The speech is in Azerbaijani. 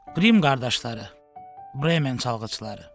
Qrim qardaşları, Bremen çalğıçıları.